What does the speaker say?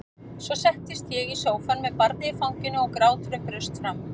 Svo settist ég í sófann með barnið í fanginu og gráturinn braust fram.